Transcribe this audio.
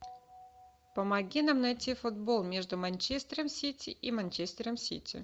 помоги нам найти футбол между манчестером сити и манчестером сити